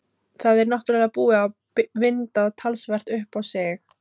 Þetta er náttúrlega búið að vinda talsvert upp á sig.